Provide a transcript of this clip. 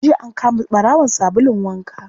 Jiya an kama ɓarawon sabulun waka